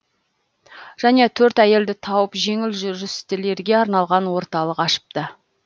және төрт әйелді тауып жеңіл жүрістілерге арналған орталық ашыпты